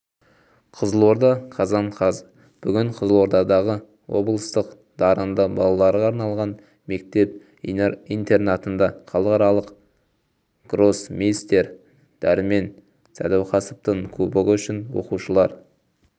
қызылорда қазан қаз бүгін қызылордадағы облыстық дарынды балаларға арналған мектеп-интернатындахалықаралық гроссмейстер дәрмен сәдуақасовтың кубогы үшін оқушылар